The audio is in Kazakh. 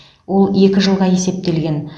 ол екі жылға есептелген